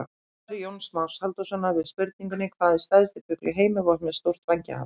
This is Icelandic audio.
Svar Jóns Más Halldórssonar við spurningunni Hvað er stærsti fugl í heimi með stórt vænghaf?